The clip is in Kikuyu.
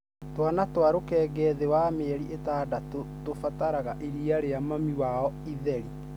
Twana twa rũkenge thĩ ya mĩeri ĩtandatu tũbataraga iria rĩa mami wao itheri.